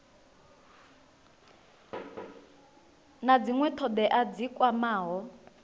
na dzinwe thodea dzi kwamaho